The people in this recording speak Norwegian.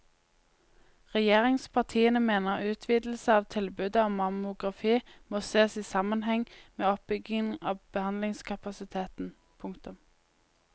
Regjeringspartiene mener utvidelse av tilbudet om mammografi må sees i sammenheng med oppbyggingen av behandlingskapasiteten. punktum